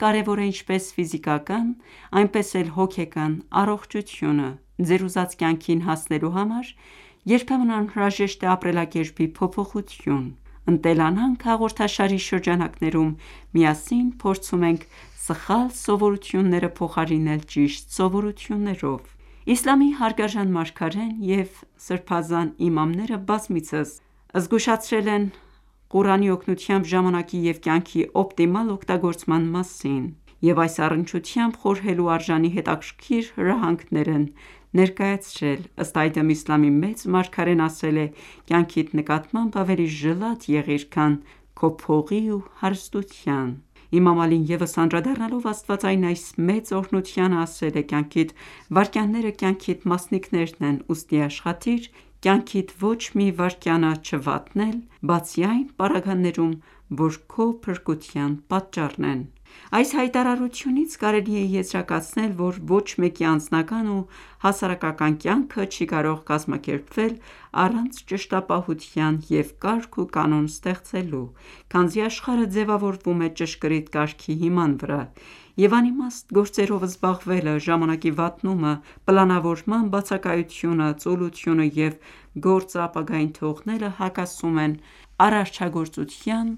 կարևոր է ինչպես ֆիզիկական, այնպես էլ հոգեկան առողջությունը: Ձեր ուզած կյանքին հասնելու համար երբեմն անհրաժեշտ է ապրելակերպի փոփոխություն: «Ընտելանանք» հաղորդաշարի շրջանակներում միասին փորձում ենք սխալ սովորությունները փոխարինել ճիշտ սովորություններով։ Իսլամի հարգարժան մարգարեն և սրբազան իմամները բազմիցս զգուշացրել են Ղուրանի օգնությամբ ժամանակի և կյանքի օպտիմալ օգտագործման մասին և այս առնչությամբ խորհելու արժանի հետաքրքիր հրահանգներ են ներկայացրել:Ըստ այդմ, Իսլամի մեծն մարգարեն ասել է.«Կյանքիդ նկատմամբ ավելի ժլատ եղիր, քան քո փողի ու հարստության»:(Բահար ալ-անվար 77-րդ հատոր ,78-րդ էջ): Իմամ Ալին ևս անդրադառնալով աստվածային այս մեծ օրհնությանը, ասել է.« Կյանքիդ վայրկյանները կյանքիդ մասնիկներն են ,ուստի աշխատիր կյանքիդ ոչ մի վայրկյանը չվատնել, բացի այն պարագաներում, որ քո փրկության պատճառն են:(Ղորար ալ-հեքամ, առաջին հատոր ,252-րդ էջ): Այս հայտարարությունից կարելի է եզրակացնել, որ ոչ մեկի անձնական ու հասարակական կյանքը չի կարող կազմակերպվել առանց ճշտապահության և կարգ ու կանոն ստեղծելու, քանզի աշխարհը ձևավորվում է ճշգրիտ կարգի հիման վրա, և անիմաստ գործերով զբաղվելը, ժամանակի վատնումը, պլանավորման բացակայությունը, ծուլությունը և գործը ապագային թողնելը, հակասում են արարչագործության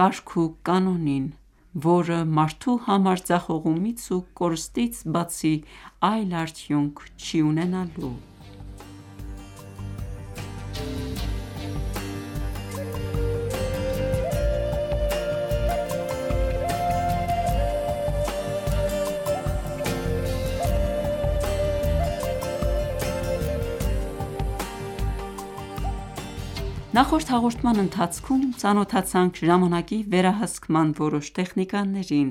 կարգ ու կանոնին ,որը մարդու համար ձախողումից ու կորստից բացի այլ արդյունք չի ունենալու: Բարի օր թանկագին բարեկամներ: Նախորդ հաղորդման ընթացքում ծանոթացանք ժամանակի վերահսկման որոշ տեխնիկաներին: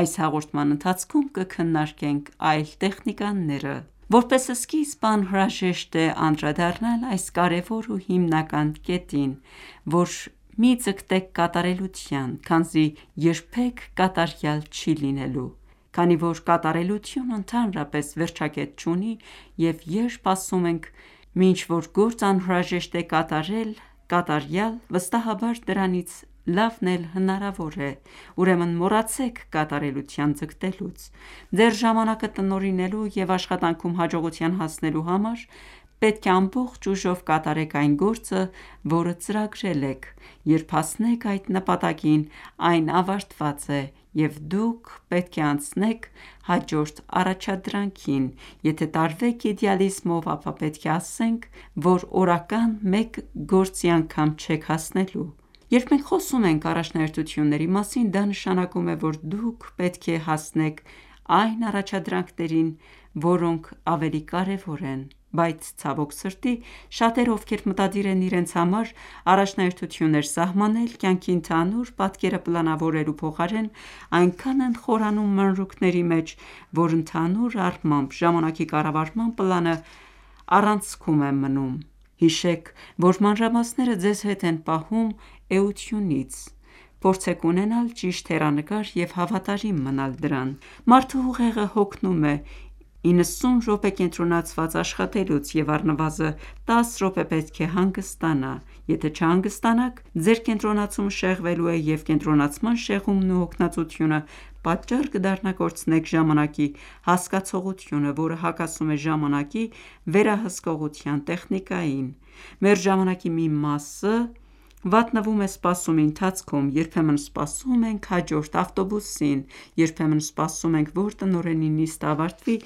Այս հաղորդման ընթացքում կքննարկենք այլ տեխնիկաները:Ընկերակցեք մեզ: Որպես սկիզբ անհրաժեշտ է անդրադառնալ այս կարևոր ու հիմնական կետին ,որ մի ձգտեք կատարելության ,քանզի երբեք կատարյալ չի լինելու:Քանի որ կատարելությունը ընդհանրապես վերջակետ չունի,և երբ ասում ենք մի ինչ որ գործ անհրաժեշտ է կատարել կատարյալ, վստահաբար դրանից լավն էլ հնարավոր է:Ուրեմն մոռացեք կատարելության ձգտելուց :Ձեր ժամանակը տնօրինելու և աշխատանքում հաջողության հասնելու համար պետք է ամբողջ ուժով կատարեք այն գործը, որը ծրագրել եք։ Երբ հասնեք այդ նպատակին, այն ավարտված է, և դուք պետք է անցնեք հաջորդ առաջադրանքին:Եթե ​​տարվեք իդեալիզմով, ապա պետք է ասենք, որ օրական մեկ գործի անգամ չեք հասնելու: Երբ մենք խոսում ենք առաջնահերթությունների մասին, դա նշանակում է, որ դուք պետք է հասնեք այն առաջադրանքներին, որոնք ավելի կարևոր են:Բայց ցավոք սրտի, շատերը, ովքեր մտադիր են իրենց համար առաջնահերթություններ սահմանել, կյանքի ընդհանուր պատկերը պլանավորելու փոխարեն այնքան են խորանում մանրուքների մեջ, որ, ընդհանուր առմամբ, ժամանակի կառավարման պլանը առանցքում է մնում:Հիշեք, որ մանրամասները ձեզ հետ են պահում էությունից:Փորձեք ունենալ ճիշտ հեռանկար և հավատարիմ մնալ դրան: Մարդու ուղեղը հոգնում է իննսուն րոպե կենտրոնացված աշխատելուց և առնվազն տասը րոպե պետք է հանգստանա: Եթե չհանգստանաք ,Ձեր կենտրոնացումը շեղվելու է և կենտրոնացման շեղումն ու հոգնածությունը ,պատճառ կդառնա կորցնեք ժամանակի հասկացողությունը ,որը հակասում է ժամանակի վերահսկողության տեխնիկային: Մեր ժամանակի մի մասը վատնվում է սպասումի ընթացքում: Երբեմն սպասում ենք հաջորդ ավտոբուսին:Երբեմն սպասում ենք ,որ տնօրենի նիստը ավարտվի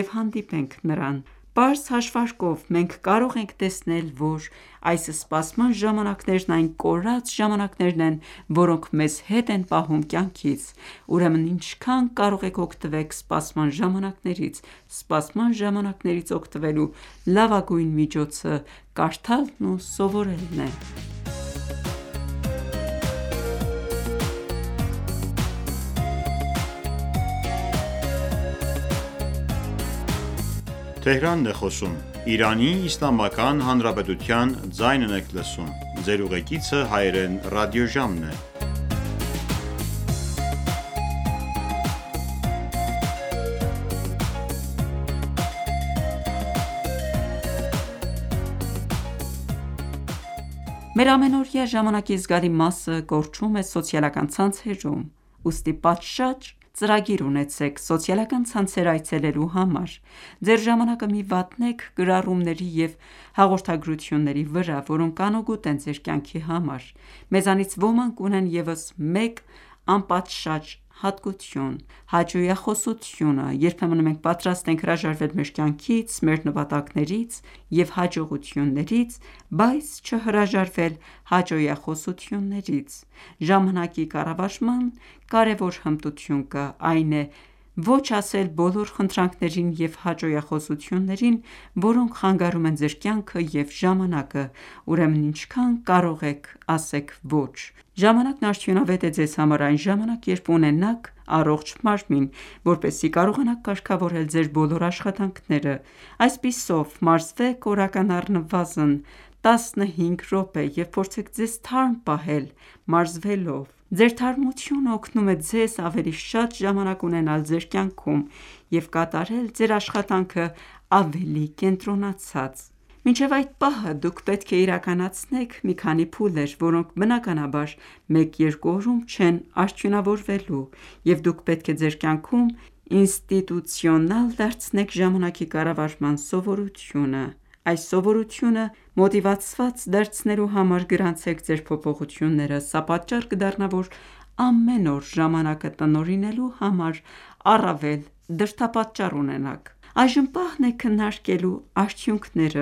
և հանդիպենք նրան: Պարզ հաշվարկով մենք կարող ենք տեսնել, որ այս սպասման ժամանակներն այն կորած ժամանակներն են, որոնք մեզ հետ են պահում կյանքից:Ուրեմն ինչքան կարող եք օգտվեք սպասման ժամանակներից: Սպասման ժամանակներից օգտվելու լավագույն միջոցը կարդալն ու սովորելն է: Մեր ամենօրյա ժամանակի զգալի մասը կորչում է սոցիալական ցանցերում:Ուստի պատշաճ ծրագիր ունեցեք սոցիալական ցանցեր այցելելու համար։ Ձեր ժամանակը մի վատնեք գրառումների և հաղորդագրությունների վրա, որոնք անօգուտ են ձեր կյանքի համար: Մեզանից ոմանք ունեն ևս մեկ անպատշաճ հատկություն՝ հաճոյախոսությունը:Երբեմն մենք պատրաստ ենք հրաժարվել մեր կյանքից, մեր նպատակներից և հաջողություններից, բայց չհրաժարվել հաճոյախոսություններից:Ժամանակի կառավարման կարևոր հմտություն կա, այն է՝ ոչ ասել բոլոր խնդրանքներին և հաճոյախոսություններին, որոնք խանգարում են ձեր կյանքը և ժամանակը:Ուրեմն ինչքան կարող եք ասեք ոչ: Ժամանակն արդյունավետ է Ձեզ համար, այն ժամանակ ,երբ ունենաք առողջ մարմին, որպեսզի կարողանաք կարգավորել Ձեր բոլոր աշխատանքները: Այսպիսով, մարզվեք օրական առնվազն տասնհինգ րոպե և փորձեք ձեզ թարմ պահել մարզվելով:Ձեր թարմությունը օգնում է ձեզ ավելի շատ ժամանակ ունենալ ձեր կյանքում և կատարել ձեր աշխատանքն ավելի կենտրոնացած:Մինչև այդ պահը, դուք պետք է իրականացնեք մի քանի փուլեր, որոնք բնականաբար մեկ-երկու օրում չեն արդյունավորվելու, և դուք պետք է ձեր կյանքում ինստիտուցիոնալ դարձնեք ժամանակի կառավարման սովորությունը:Այս սովորությունը մոտիվացված դարձնելու համար գրանցեք ձեր փոփոխությունները:Սա պատճառ կդառնա ,որ ամեն օր ժամանակը տնօրինելու համար ,առավել դրդապատճառ ունենաք: Այժմ պահն է քննարկելու արդյունքները: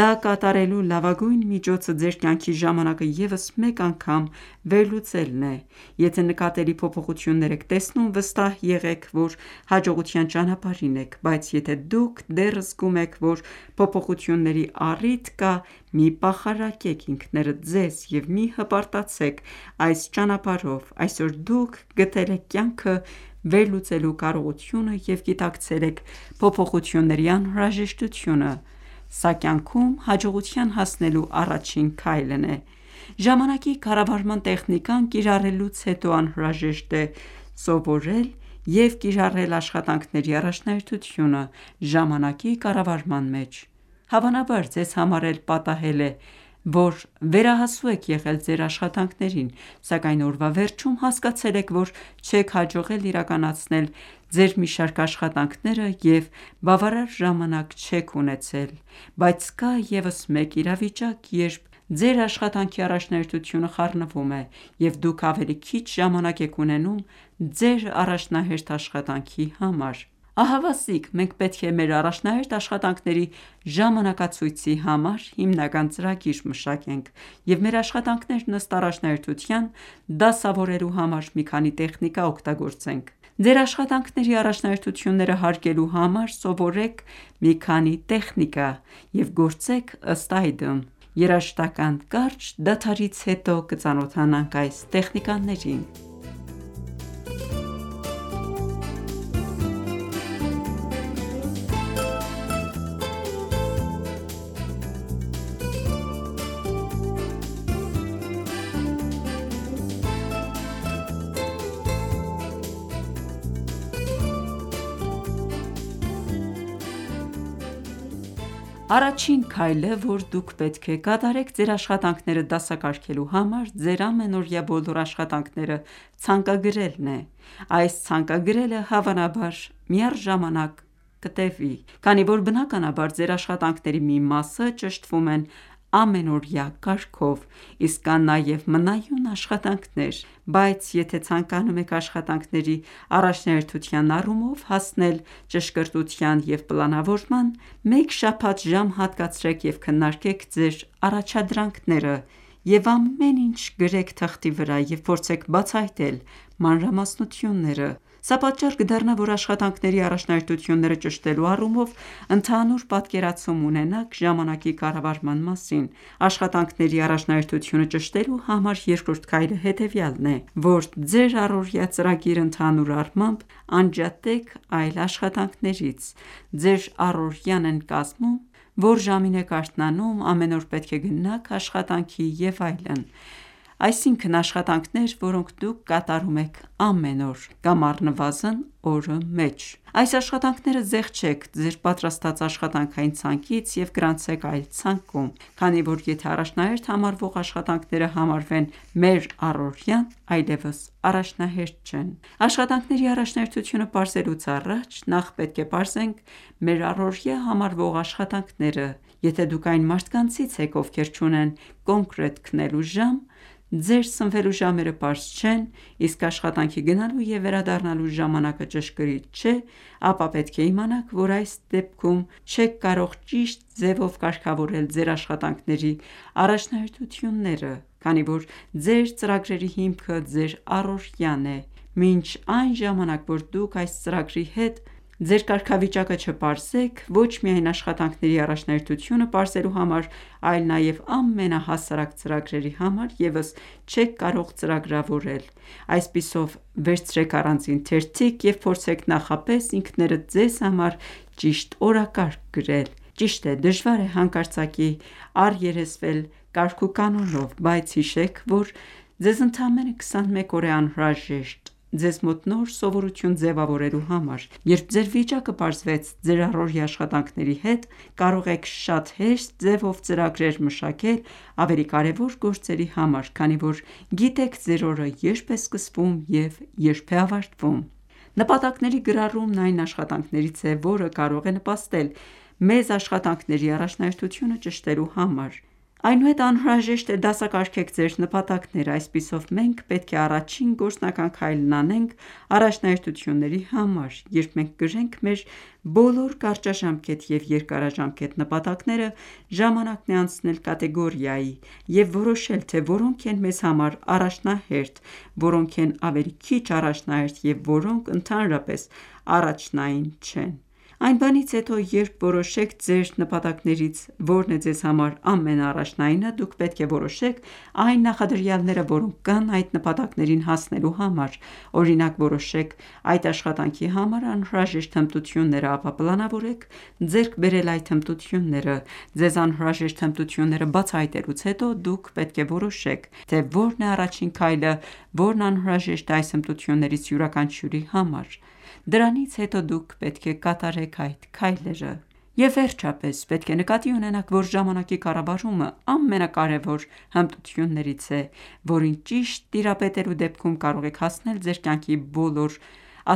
Դա կատարելու լավագույն միջոցը ձեր կյանքի ժամանակը ևս մեկ անգամ վերլուծելն է:Եթե ​​նկատելի փոփոխություն եք տեսնում, վստահ եղեք, որ հաջողության ճանապարհին եք:Բայց եթե դուք դեռ զգում եք, որ փոփոխությունների առիթ կա, մի պախարակեք ինքներդ ձեզ և մի հպարտացեք այս ճանապարհով:Այսօր դուք գտել եք կյանքը վերլուծելու կարողությունը և գիտակցել եք փոփոխությունների անհրաժեշտությունը:Սա կյանքում հաջողության հասնելու առաջին քայլն է: Ժամանակի կառավարման տեխնիկան կիրառելուց հետո անհրաժեշտ է սովորել և կիրառել աշխատանքների առաջնահերթությունը ժամանակի կառավարման մեջ:Հավանաբար Ձեզ համար էլ պատահել է ,որ վերահասու եք եղել Ձեր աշխատանքներին ,սակայն օրվա վերջում հասկացել էք ,որ չեք հաջողել իրականացնել Ձեր մի շարք աշխատանքները և բավարար ժամանակ չեք ունեցել: Բայց կա ևս մեկ իրավիճակ, երբ ձեր աշխատանքի առաջնահերթությունը խառնվում է, և դուք ավելի քիչ ժամանակ եք ունենում ձեր առաջնահերթ աշխատանքի համար: Ահավասիկ մենք պետք է մեր առաջնահերթ աշխատանքների ժամանակացույցի համար հիմնական ծրագիր մշակենք և մեր աշխատանքներն ըստ առաջնահերթության դասավորելու համար մի քանի տեխնիկա օգտագործենք: Ձեր աշխատանքների առաջնահերթությունները հարգելու համար ,սովորեք մի քանի տեխնիկա և գործեք ըստ այդմ: Երաժշտական կարճ դադարից հետո կծանոթանանք այս տեխնիկաներին: Առաջին քայլը, որ դուք պետք է կատարեք ձեր աշխատանքները դասակարգելու համար, ձեր ամենօրյա բոլոր աշխատանքները ցանկագրելն է: Այս ցանկագրելը հավանաբար միառժամանակ տևի:Քանի որ բնականաբար Ձեր աշխատանքների մի մասը ճշտվում են ամենօրյա կարգով ,իսկ կան նաև մնայուն աշխատանքներ: Բայց եթե ցանկանում եք աշխատանքների առաջնահերթության առումով հասնել ճշգրտության և պլանավորման, մեկ շաբաթ ժամ հատկացրեք և քննարկեք ձեր առաջադրանքները և ամեն ինչ գրեք թղթի վրա և փորձեք բացահայտել մանրամասնությունները: Սա պատճառ կդառնա ,որ աշխատանքների առաջնահերթությունները ճշտելու առումով ընդհանուր պատկերացում ունենաք ժամանակի կառավարման մասին: Աշխատանքների առաջնահերթությունը ճշտելու համար երկրորդ քայլը հետևյալն է ,որ Ձեր առօրյա ծրագիրը ընդհանուր առմամբ անջատեք այլ աշխատանքներից :Ձեր առօրյան են կազմում ՝ո՞ր ժամին եք արթնանում, ամեն օր պետք է գնաք աշխատանքի և այլն, այսինքն աշխատանքներ ,որոնք դուք կատարում եք ամեն օր ,կամ առնվազն օրը մեջ: Այս աշխատաքները զեղչեք ձեր պատրաստած աշխատանքային ցանկից և գրանցեք այլ ցանկում: Քանի որ եթե առաջնահերթ համարվող աշխատանքները համարվեն մեր առօրյան, այլևս առաջնահերթ չեն: Աշխատանքների առաջնահերթությունը պարզելուց առաջ ,նախ պետք է պարզենք մեր առօրյա համարվող աշխատանքները: Եթե ​​դուք այն մարդկանցից եք, ովքեր չունեն կոնկրետ քնելու ժամ, ձեր սնվելու ժամերը պարզ չեն, իսկ աշխատանքի գնալու և վերադառնալու ժամանակը ճշգրիտ չէ, ապա պետք է իմանաք, որ այս դեպքում չեք կարող ճիշտ ձևով կարգավորել ձեր աշխատանքների առաջնահերթությունները: Քանի որ ձեր ծրագրերի հիմքը ,Ձեր առօրյան է: Մինչ այն ժամանակ որ դուք այս ծրագրի հետ ձեր կարգավիճակը չպարզեք ,ոչ միայն աշխատանքների առաջնահերթությունը պարզելու համար, այլ նաև ամենահասարակ ծրագրերի համար ևս չեք կարող ծրագրավորել :Այսպիսով, վերցրեք առանձին թերթիկ և փորձեք նախապես ինքներդ ձեզ համար ճիշտ օրակարգ գրել:Ճիշտ է, դժվար է հանկարծակի առերեսվել կարգուկանոնով, բայց հիշեք, որ ձեզ ընդամենը 21 օր է անհրաժեշտ՝ ձեզ մոտ նոր սովորություն ձևավորելու համար։ Երբ ձեր վիճակը պարզվեց ձեր առօրյա աշխատանքների հետ ,կարող եք շատ հեշտ ձևով ծրագրեր մշակել ավելի կարևոր գործերի համար, քանի որ գիտեք ձեր օրը երբ է սկսվում և երբ է ավարտվում: Նպատակների գրառումն այն աշխատաքներից է,որը կարող է նպաստել մեզ աշխատանքների առաջնահերթությունը ճշտելու համար: Այնուհետ անհրաժեշտ է դասակարգեք ձեր նպատակները:Այսպիսով մենք պետք է առաջին գործնական քայլն անենք առաջնահերթությունների համար։ Երբ մենք գրենք մեր բոլոր կարճաժամկետ և երկարաժամկետ նպատակները, ժամանակն է անցնել կատեգորիայի և որոշել, թե որոնք են մեզ համար առաջնահերթ, որոնք են ավելի քիչ առաջնահերթ և որոնք ընդհանրապես առաջնային չեն:Այն բանից հետո, երբ որոշեք, թե ձեր նպատակներից որն է ձեզ համար ամենաառաջնայինը, դուք պետք է որոշեք այն նախադրյալները, որոնք կան այդ նպատակներին հասնելու համար:Օրինակ, որոշեք այդ աշխատանքի համար անհրաժեշտ հմտությունները, ապա պլանավորեք ձեռք բերել այդ հմտությունները: Ձեզ անհրաժեշտ հմտությունները բացահայտելուց հետո դուք պետք է որոշեք, թե որն է առաջին քայլը, որն անհրաժեշտ է այս հմտություններից յուրաքանչյուրի համար:Դրանից հետո դուք պետք է կատարեք այդ քայլերը։ Եվ վերջապես պետք է նկատի ունենաք, որ ժամանակի կառավարումն ամենակարևոր հմտություններից է, որին ճիշտ տիրապետելու դեպքում կարող եք հասնել ձեր կյանքի բոլոր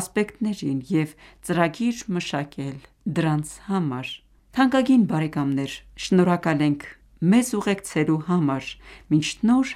ասպեկտներին և ծրագիր մշակել դրանց համար: Թանկագին բարեկամներ ,շնորհակալ ենք մեզ ուղեկցելու համար:Մինչ նոր